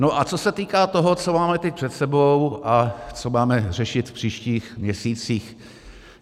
No a co se týká toho, co máme teď před sebou a co máme řešit v příštích měsících.